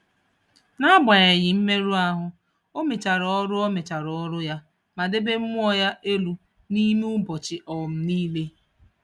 N’agbanyeghị mmerụ ahụ, ọ mechara ọrụ ọ mechara ọrụ ya ma debe mmụọ ya elu n’ime ụbọchị um niile.